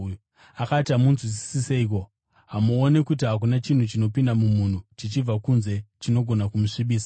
Akati, “Hamunzwisisi seiko? Hamuoni kuti hakuna chinhu chinopinda mumunhu chichibva kunze chinogona ‘kumusvibisa’?